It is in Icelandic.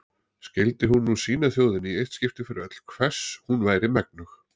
Skyldi hún nú sýna þjóðinni í eitt skipti fyrir öll hvers hún væri megnug.